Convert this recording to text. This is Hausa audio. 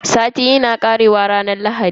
Sati yana karewa ne a ranar Lahadi.